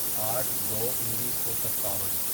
آٹھ دو انیسو ستاون